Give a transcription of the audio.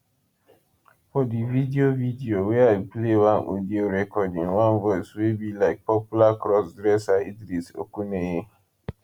for di video video wia e play one audio recording one voice wey be like popular crossdresser idris okuneye